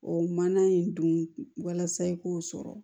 O mana in dun walasa i k'o sɔrɔ